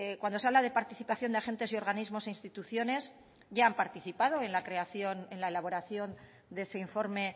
cuando se habla de participación de agente y organismo e instituciones ya han participado en la elaboración de ese informe